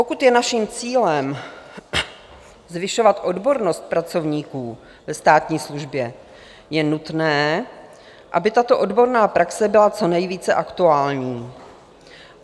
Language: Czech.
Pokud je naším cílem zvyšovat odbornost pracovníků ve státní službě, je nutné, aby tato odborná praxe byla co nejvíce aktuální.